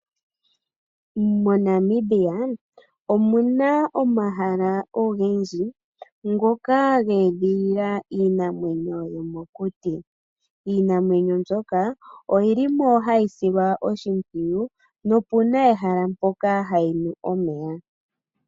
Monamibia omuna omahala ogendji ngoka ge edhilila iinamwenyo yomokuti. Iinamwenyo mbyoka oyilimo hayi silwa oshimpwiyu nopuna ehala mpoka hayinu omeya